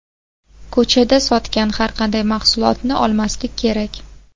Ko‘chada sotgan har qanday mahsulotni olmaslik kerak.